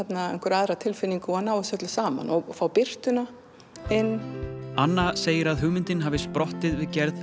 aðra tilfinningu og ná þessu öllu saman og að fá birtuna inn anna segir að hugmyndin hafi sprottið við gerð